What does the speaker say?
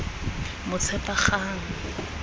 motshepagang